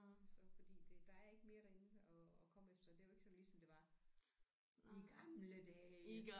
Så fordi det der er ikke mere derinde at at komme efter det er jo ikke sådan ligesom det var i gamle dage